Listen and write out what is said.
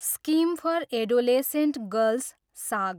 scheme for adolescent girls, साग